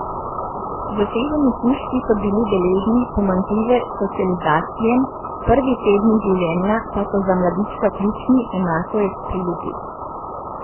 Zaseženi kužki so bili deležni pomanjkljive socializacije, prvi tedni življenja, pa so za mladiča ključni, enako je pri ljudeh.